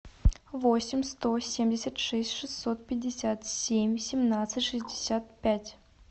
восемь сто семьдесят шесть шестьсот пятьдесят семь семнадцать шестьдесят пять